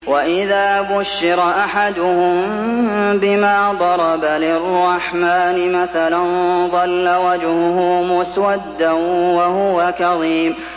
وَإِذَا بُشِّرَ أَحَدُهُم بِمَا ضَرَبَ لِلرَّحْمَٰنِ مَثَلًا ظَلَّ وَجْهُهُ مُسْوَدًّا وَهُوَ كَظِيمٌ